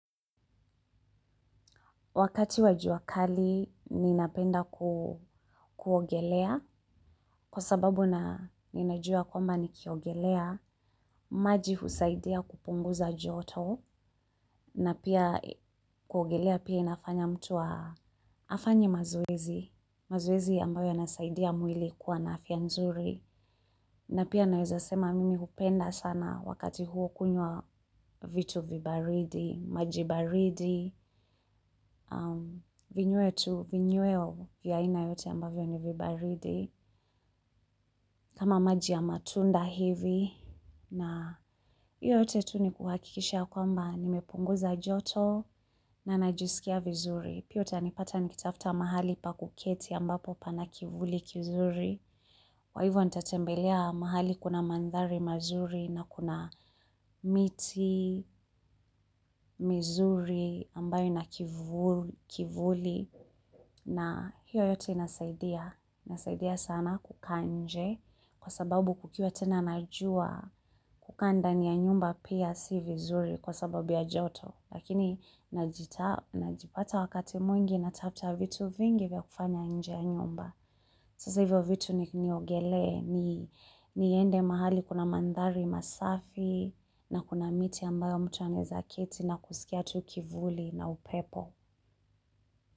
Wakati wajua kali, ninapenda kuogelea, kwa sababu na ninajua kwamba nikiogelea, maji husaidia kupunguza joto, na pia kuogelea pia inafanya mtu a afanye mazoezi, mazoezi ambayo yanasaidia mwili kuwa naafyanzuri. Na pia naweza sema mimi hupenda sana wakati huo kunywa vitu vibaridi, majibaridi, vinywetu, vinyweo vyaaina yote ambavyo ni vibaridi. Kama maji ya matunda hivi na hio yote tu ni kuhakikisha kwamba nimepunguza joto na najiskia vizuri. Pia utanipata nikitafta mahali pa kuketi ambapo pana kivuli kizuri. Kwaivo nitatembelea mahali kuna mandhari mazuri na kuna miti, mizuri ambayo ina kivuli. Na hiyo yote inasaidia. Inasaidia sana kukaanje kwa sababu kukiwa tena najua kukaanda ni ya nyumba pia si vizuri kwa sababu ya joto. Lakini najipata wakati mwingi natafta vitu vingi vya kufanya nje ya nyumba. Sasa hivyo vitu ni niogelee niende mahali kuna mandhari masafi na kuna miti ambayo mtuanaweza keti na kusikia tu kivuli na upepo.